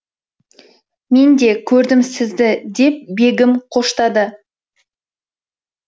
мен де көрдім сізді деп бегім қоштады